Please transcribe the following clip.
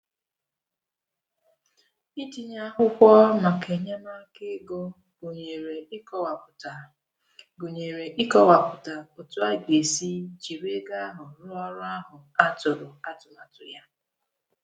Itinye akwụkwọ maka enyemaka ego gụnyere ịkọwapụta gụnyere ịkọwapụta otú a ga-esi jiri ego ahụ ruo ọrụ ahụ a tụrụ atụmatụ ya.